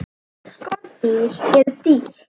Skordýr eru dýr.